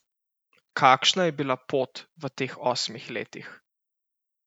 Kakšna je bila pot v teh osmih letih?